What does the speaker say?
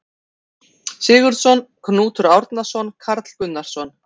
Sigurðsson, Knútur Árnason, Karl Gunnarsson